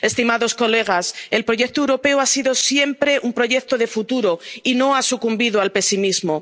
que decirnos. Estimados colegas, el proyecto europeo ha sido siempre un proyecto de futuro y no ha sucumbido